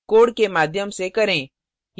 code के माध्यम से करें